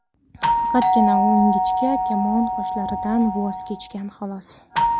Faqatgina u ingichka kamon qoshlaridan voz kechgan, xolos.